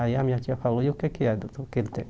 Aí a minha tia falou, e o que é que é doutor o que ele tem?